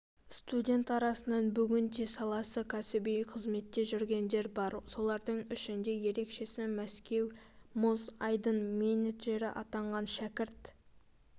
студент арасынан бүгінде саласында кәсіби қызметте жүргендер бар солардың ішінде ерекшесі мәскеу мұз айдыныменеджері атанған шәкірт